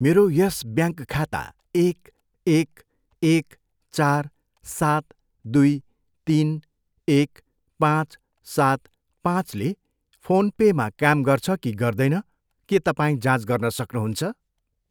मेरो यस ब्याङ्क खाता एक, एक, एक, चार, सात, दुई, तिन, एक, पाँच, सात, पाँचले फोन पेमा काम गर्छ कि गर्दैन? के तपाईँ जाँच गर्न सक्नुहुन्छ?